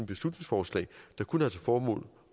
beslutningsforslag der kun har til formål